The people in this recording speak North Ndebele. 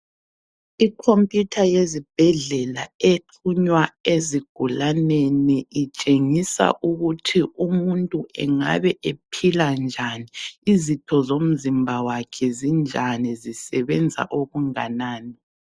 Ikhomputha yezibhedlela exhunywa ezigulaneni itshengisa ukuthi umuntu engabe ephila njani, izitho zomzimba wakhe zinjani, zisebenza okunganani.